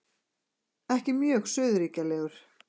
Ekki mjög suðurríkjalegur.